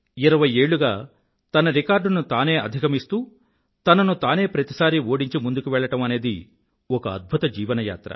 ఇరవై ఏళ్ళుగా తన రికార్డును తానే అధిగమిస్తూ తనను తానే ప్రతిసారీ ఓడించి ముందుకు వెళ్ళడం అనేది ఒక అద్భుత జీవన యాత్ర